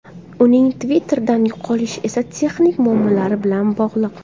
Uning Twitter’dan yo‘qolishi esa texnik muammolar bilan bog‘liq.